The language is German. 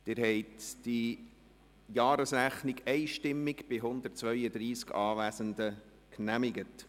Sie haben die Jahresrechnung einstimmig bei 132 Anwesenden genehmigt.